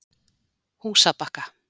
Húsabakka